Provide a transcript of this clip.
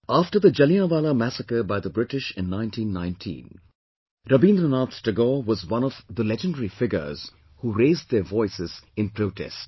After the Jallianwallah Massacre by the British in 1919, Rabindranath Tagore was one of the legendary figures, who raised their voices in protest